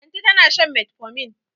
Lanti tana shan metformin.